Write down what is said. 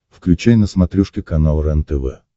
включай на смотрешке канал рентв